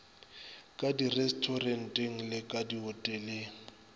ka direstoranteng le ka dihoteleng